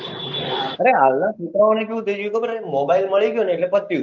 અરે હાલ ના છોકરાઓ ને કેવું થઇ ગયું છે ખબર હે mobile મળી ગયું એટલે પત્યું